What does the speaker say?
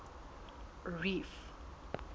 reef